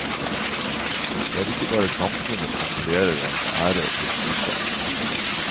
Det er ikke bare samfunnet som vurderer ens ære og prestisje.